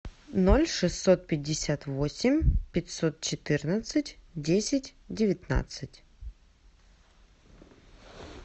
ноль шестьсот пятьдесят восемь пятьсот четырнадцать десять девятнадцать